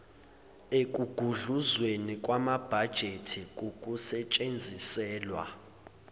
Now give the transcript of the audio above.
ekugudluzweni kwamabhajethi kukusetshenziselwa